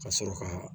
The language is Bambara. Ka sɔrɔ ka